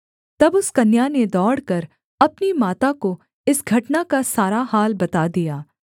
तब उस कन्या ने दौड़कर अपनी माता को इस घटना का सारा हाल बता दिया